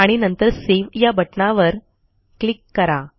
आणि नंतर सेव्ह या बटणावर क्लिक करा